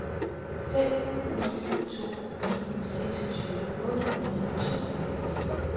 fem ni to ni seksogtyve otte hundrede og tooghalvfems